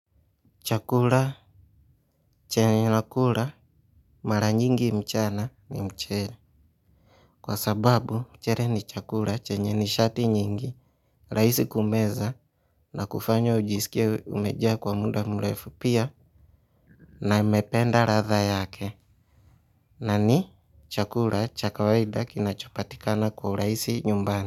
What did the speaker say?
Chakula chenye nakula mara nyingi mchana ni mchele. Kwa sababu mchele ni chakula chenye nishati nyingi rahisi kumeza na kufanya ujisikie umejaa kwa muda mrefu. Pia naiependa ladha yake na ni chakula cha kawaida kinachopatikana kwa urahisi nyumbani.